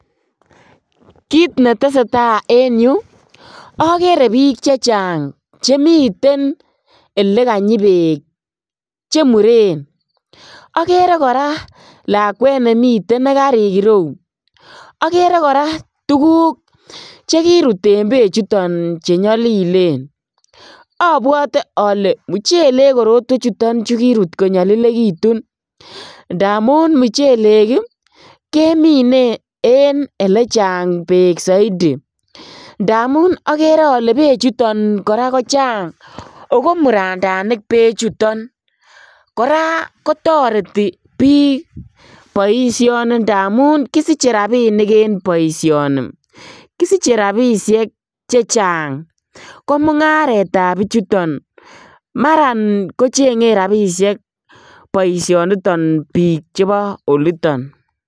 Kit netesee taa en yu okere bik chechang chemiten elekanyi beek chemuren okere joraa lakwet nemiten nekarik ireu, okere koraa tuguk chekirut en bechuton chenyolilen obwote ole muchelek tuguchuton kirut konyolilekitun ndamun muchelek ii kemine en elechang beek soiti, ndamun okere ole bechuton koraa kochang ako murandanik bechuton, koraa kotoreti bik boisioni ndamun kisiche rabinik en boisioni kisiche rabishek chechang, komungaretab bichuton maran kochengen rabishek boisioniton bik chebo oliton.